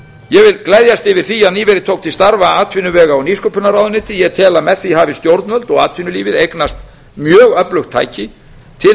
ég vil gleðjast yfir því að nýverið tók til starfa atvinnuvega og nýsköpunarráðuneyti ég tel að með því hafi stjórnvöld og atvinnulífið eignast mjög öflugt tæki til